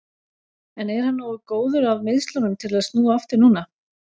En er hann nógu góður af meiðslunum til að snúa aftur núna?